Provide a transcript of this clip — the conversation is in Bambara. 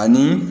Ani